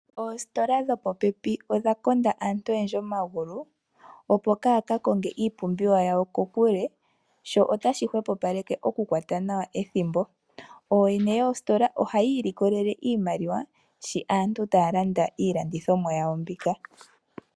Oositola dhopo pepi odha konda aantu otendji omagulu oo kaaya kakonge iipumbiwa yawo kokule. Sho ota shi hwepo paleke okukwata nawa ethimbo. Oyene yoositola ohayiilikolele iimaliwa shi aantu taya landa iilandithimwa yawo mbika.